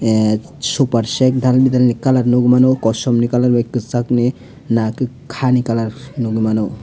super set dalbidal colour nukmano kosomni colour bai kwchakni nakhe haa ni colour nukgwi mano.